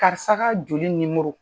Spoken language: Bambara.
Karisa ka joli nimɔrɔ.